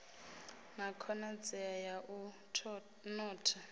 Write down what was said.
na khonadzeo ya u notha